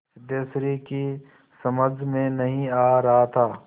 सिद्धेश्वरी की समझ में नहीं आ रहा था